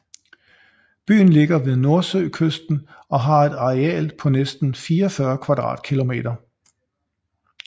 Byen ligger ved Nordsøkysten og har et areal på næsten 44 km²